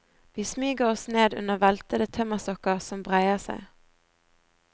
Vi smyger oss ned under veltede tømmerstokker som breier seg.